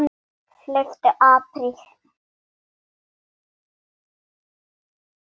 Hann vill fá mig.